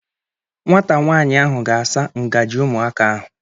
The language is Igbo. Nwata nwaanyị ahụ ga-asa ngaji ụmụaka ahụ.